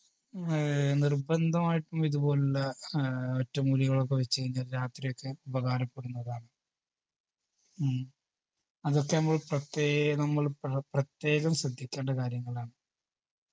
ഏർ നിർബന്ധമായിട്ടും ഇതുപോലുള്ള ആഹ് ഒറ്റമൂലികളൊക്കെ വെച്ച് കഴിഞ്ഞാൽ രാത്രിയൊക്കെ ഉപകാരപ്പെടുന്നതാണ് ഉം അതൊക്കെ മ്മള് പ്രത്യേക നമ്മള് പ്ര പ്രത്യേകം ശ്രദ്ധിക്കേണ്ട കാര്യങ്ങളാണ്